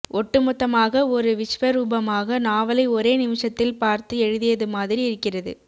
ஒட்டுமொத்தமாக ஒரு விஸ்வரூபமாக நாவலை ஒரே நிமிஷத்தில் பார்த்து எழுதியதுமாதிரி இருக்கிறது